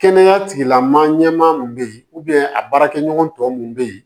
Kɛnɛya tigila maa ɲɛmaa min bɛ yen a baarakɛɲɔgɔn tɔ minnu bɛ yen